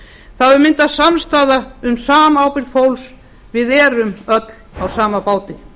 það hefur myndast samstaða um samábyrgð fólks við erum öll á sama báti